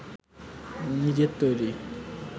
নিজের তৈরি